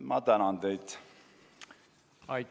Ma tänan teid!